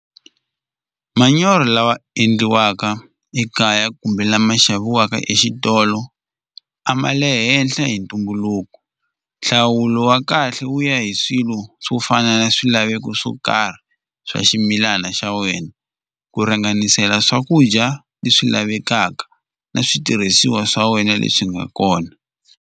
Manyoro lawa endliwaka ekaya kumbe lama xaviweka exitolo a ma le henhla hi ntumbuluko nhlawulo wa kahle wu ya hi swilo swo fana na swilaveko swo karhi swa ximilana xa wena ku ringanisela swakudya leswi lavekaka na switirhisiwa swa wena leswi nga kona.